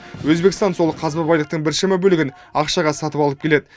өзбекстан сол қазба байлықтың біршама бөлігін ақшаға сатып алып келеді